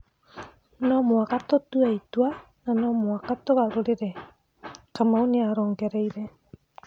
"No mũhaka tũtũe itwa no mũhaka tũgarũrĩre," Kamau nĩarongereire.